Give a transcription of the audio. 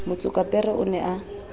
motsokapere o ne a na